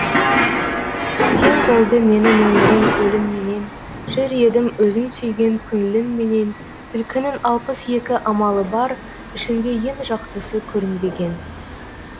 тең болды менің өмірім өлім менен жүр едім өзің сүйген көңлің менен түлкінің алпыс екі амалы бар ішінде ең жақсысы көрінбеген